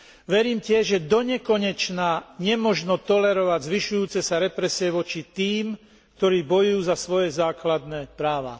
Verím tiež, že donekonečna nemožno tolerovať zvyšujúce sa represie voči tým, ktorí bojujú za svoje základné práva.